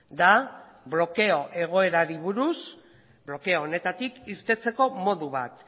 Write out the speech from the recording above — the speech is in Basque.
da blokeo egoerari buruz blokeo honetatik irteteko modu bat